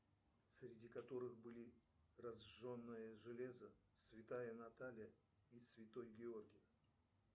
среди которых были разженные железо святая наталья и святой георгий